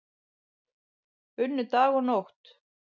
Unnu dag og nótt